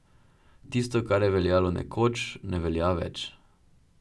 Tisto, kar je veljalo nekoč, ne velja več.